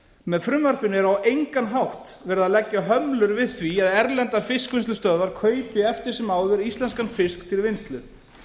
með frumvarpinu er á engan hátt verið að leggja hömlur við því að erlendar fiskvinnslustöðvar kaupi eftir sem áður íslenskan fisk til vinnslu